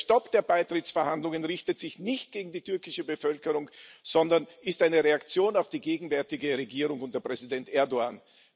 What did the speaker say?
Der Stopp der Beitrittsverhandlungen richtet sich nicht gegen die türkische Bevölkerung, sondern ist eine Reaktion auf die gegenwärtige Regierung unter Präsident Erdoğan.